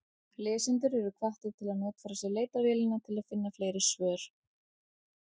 Lesendur eru hvattir til að notfæra sér leitarvélina til að finna fleiri svör.